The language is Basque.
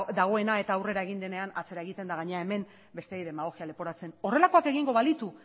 dagoena eta aurrera egin denean atzera egiten eta gainera hemen besteei demagogia leporatzen horrelakoak egingo balitu